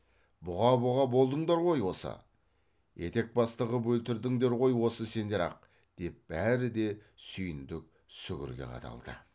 бұға бұға болдыңдар ғой осы етекбасты қып өлтірдіңдер ғой осы сендер ақ деп бәрі де сүйіндік сүгірге қадалды